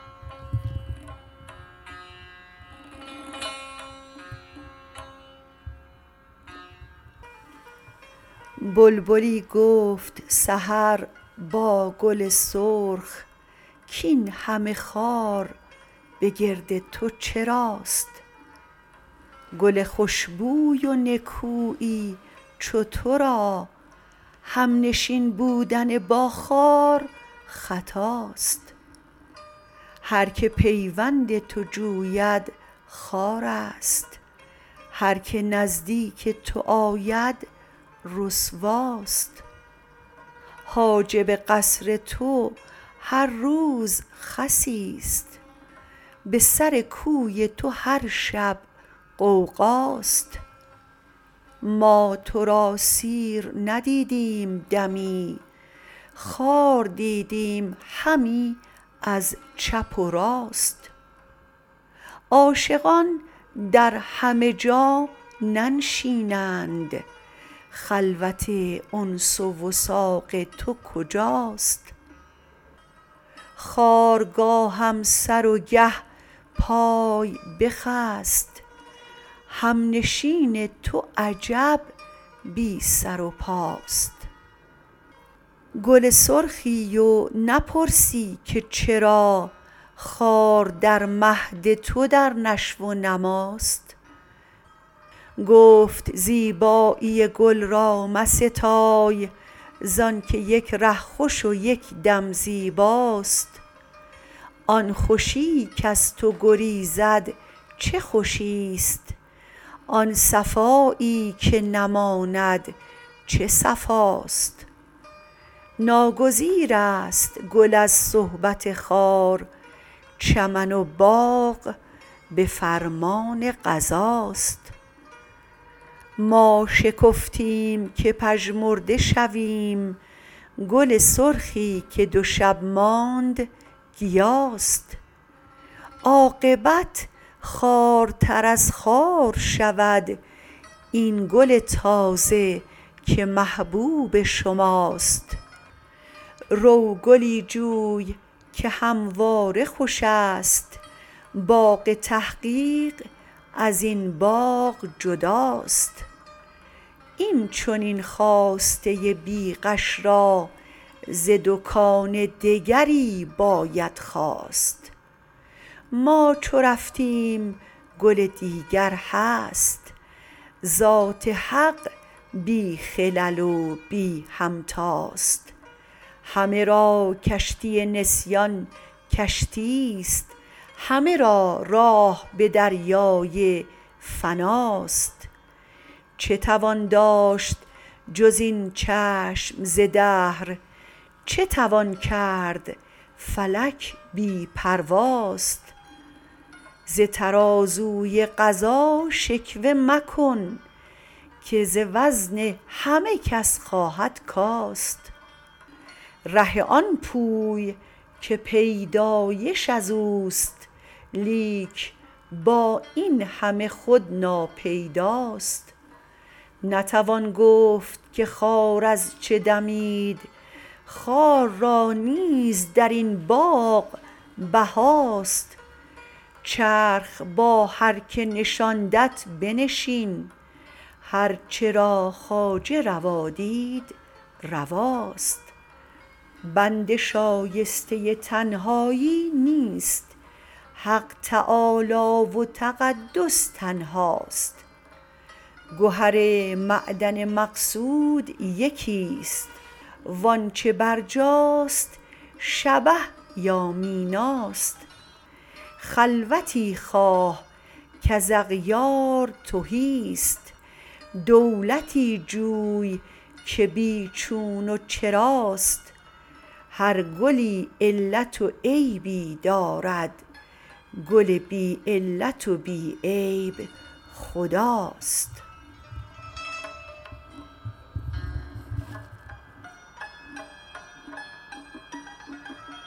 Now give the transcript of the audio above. بلبلی گفت سحر با گل سرخ کاینهمه خار به گرد تو چراست گل خشبوی و نکویی چو ترا همنشین بودن با خار خطاست هر که پیوند تو جوید خوار است هر که نزدیک تو آید رسواست حاجب قصر تو هر روز خسی است به سر کوی تو هر شب غوغاست ما تو را سیر ندیدیم دمی خار دیدیم همی از چپ و راست عاشقان در همه جا ننشینند خلوت انس و وثاق تو کجاست خار گاهم سر و گه پای بخسب همنشین تو عجب بی سر و پاست گل سرخی و نپرسی که چرا خار در مهد تو در نشو و نماست گفت زیبایی گل را مستای زانکه یک ره خوش و یکدم زیباست آن خوشی کز تو گریزد چه خوشیست آن صفایی که نماند چه صفاست ناگریز است گل از صحبت خار چمن و باغ بفرمان قضاست ما شکفتیم که پژمرده شویم گل سرخی که دو شب ماند گیاست عاقبت خوارتر از خار شود این گل تازه که محبوب شماست رو گلی جوی که همواره خوشست باغ تحقیق ازین باغ جداست این چنین خواسته بیغش را ز دکان دگری باید خواست ما چو رفتیم گل دیگر هست ذات حق بی خلل و بی همتاست همه را کشتی نسیان کشتیست همه را راه به دریای فناست چه توان داشت جز این چشم ز دهر چه توان کرد فلک بی پرواست ز ترازوی قضا شکوه مکن که ز وزن همه کس خواهد کاست ره آن پوی که پیدایش ازوست لیک با اینهمه خود ناپیداست نتوان گفت که خار از چه دمید خار را نیز درین باغ بهاست چرخ با هر که نشاندت بنشین هر چه را خواجه روا دید رواست بنده شایسته تنهایی نیست حق تعالی و تقدس تنهاست گهر معدن مقصود یکیست وانچه برجاست شبه یا میناست خلوتی خواه کز اغیار تهیست دولتی جوی که بیچون و چراست هر گلی علت و عیبی دارد گل بی علت و بی عیب خداست